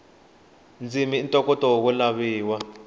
ndzimi i ntokoto wo laviwa